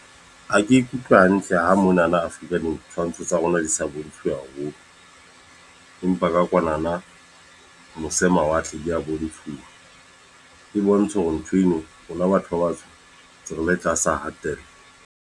Ha ke ikutlwe hantle ha monana Afrika ditshwantsho tsa rona di sa bontshiwe haholo. Empa ka kwanana mose mawatle, di a bontshuwa. E bontsha hore ntho eno rona batho ba batsho, ntse re le tlasa hatello.